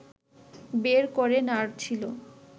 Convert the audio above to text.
বের করে নাড়ছিল